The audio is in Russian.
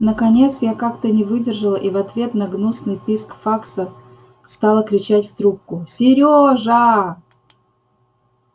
наконец я как-то не выдержала и в ответ на гнусный писк факса стала кричать в трубку серёжа